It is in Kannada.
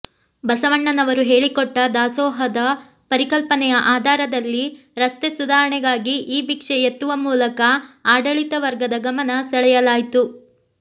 ಬಸವಣ್ಣನವರು ಹೇಳಿಕೊಟ್ಟ ದಾಸೋಹ ದ ಪರಿಕಲ್ಪನೆಯ ಆಧಾರದಲ್ಲಿ ರಸ್ತೆ ಸುಧಾರಣೆಗಾಗಿ ಈ ಭಿಕ್ಷೆ ಎತ್ತುವ ಮೂಲಕ ಆಡಳಿತವರ್ಗದವರ ಗಮನ ಸೆಳೆಯಲಾಯಿತು